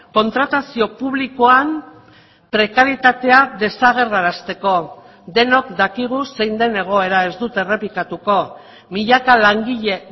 kontratazio publikoan prekaritatea desagerrarazteko denok dakigu zein den egoera ez dut errepikatuko milaka langile